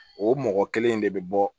O mɔgɔ kelen in de bɛ bɔ